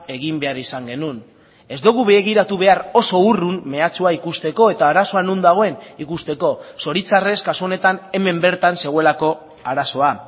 egin behar izan genuen ez dugu begiratu behar oso urrun mehatxua ikusteko eta arazoa non dagoen ikusteko zoritxarrez kasu honetan hemen bertan zegoelako arazoa